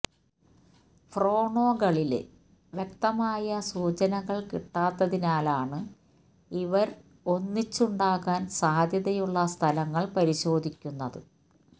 ഫോണ്രേഖകളില് വ്യക്തമായ സൂചനകള് കിട്ടാത്തതിനാലാണ് ഇവര് ഒന്നിച്ചുണ്ടാകാന് സാധ്യതയുള്ള സ്ഥലങ്ങള് പരിശോധിക്കുന്നത്